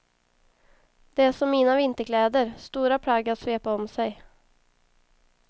Det är som mina vinterkläder, stora plagg att svepa om sig.